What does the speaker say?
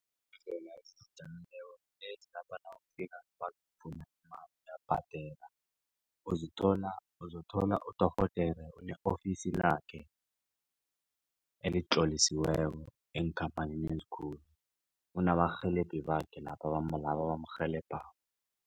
uzothola uzothola udorhodera ne-ofisi lakhe elitlolisiweko eenkhamphanini ezikulu unabarhelebhi bakhe laba abamrhelebako.